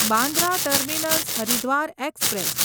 Bandra terminus Haridwar express